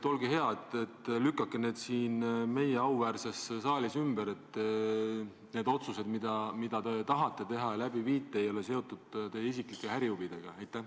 Olge hea, lükake see siin meie auväärses saalis ümber ja kinnitage, et need otsused, mida te tahate teha ja ellu viia, ei ole seotud teie isiklike ärihuvidega!